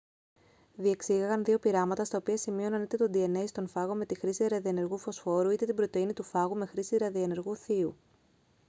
διεξήγαγαν δύο πειράματα στα οποία σημείωναν είτε το dna στον φάγο με τη χρήση ραδιενεργού φωσφόρου είτε την πρωτεΐνη του φάγου με χρήση ραδιενεργού θείου